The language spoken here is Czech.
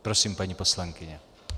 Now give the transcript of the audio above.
Prosím, paní poslankyně.